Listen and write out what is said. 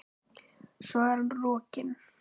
Svo er hann rokinn.